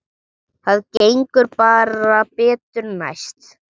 Það gengur bara betur næst.